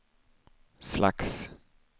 slags